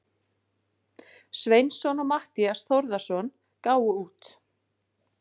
Sveinsson og Matthías Þórðarson gáfu út.